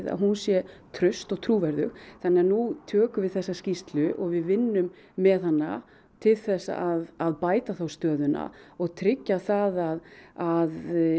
að hún sé traust og trúverðug þannig að nú tökum við þessa skýrslu og vinnum með hana til að bæta þá stöðuna og tryggja það að